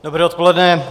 Dobré odpoledne.